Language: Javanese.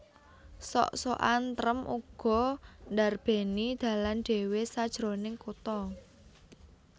Sok sokan trèm uga ndarbèni dalan dhéwé sajroning kutha